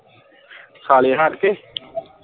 ਸਾਲੇਹਾਰ ਤੇ